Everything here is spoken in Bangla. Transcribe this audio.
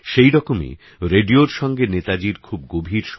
সেরকমই রেডিওর সঙ্গে নেতাজীর খুব গভীর